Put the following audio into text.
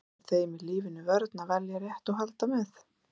Það verður þeim í lífinu vörn að velja rétt og halda með.